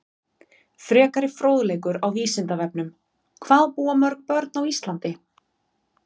Frekari fróðleikur á Vísindavefnum: Hvað búa mörg börn á Íslandi?